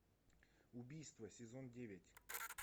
убийство сезон девять